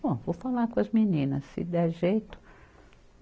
Bom, vou falar com as meninas, se der jeito.